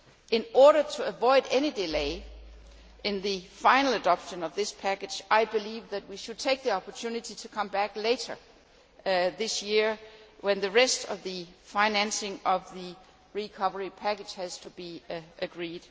In order to avoid any delay in the final adoption of this package, I believe we should take the opportunity to come back later this year when the rest of the financing of the recovery package has to be agreed.